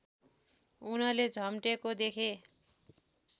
उनले झम्टेको देखे